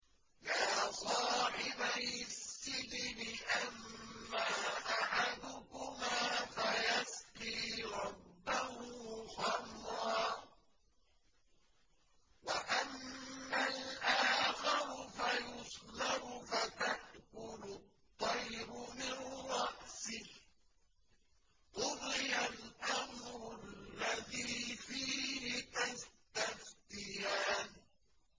يَا صَاحِبَيِ السِّجْنِ أَمَّا أَحَدُكُمَا فَيَسْقِي رَبَّهُ خَمْرًا ۖ وَأَمَّا الْآخَرُ فَيُصْلَبُ فَتَأْكُلُ الطَّيْرُ مِن رَّأْسِهِ ۚ قُضِيَ الْأَمْرُ الَّذِي فِيهِ تَسْتَفْتِيَانِ